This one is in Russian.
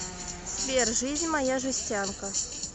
сбер жизнь моя жестянка